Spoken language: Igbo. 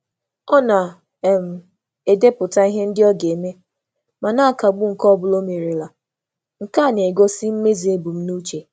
Ọ na um - edepụta ihe ndị o ga-eme, ma na akagbu nke ọbụla omerela, nke a na - egosi mmezu ebumnuche.